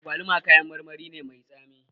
Agwaluma kayan marmari ne mai tsami